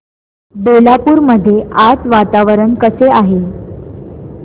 बेलापुर मध्ये आज वातावरण कसे आहे